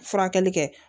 Furakɛli kɛ